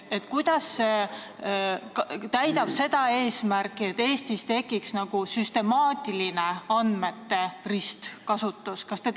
Kuidas see uuendus täidab seda eesmärki, et Eestis tekiks süstemaatiline andmete ristkasutus?